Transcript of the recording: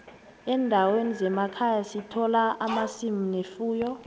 endaweni zemakhaya sithola amasimu nefuyo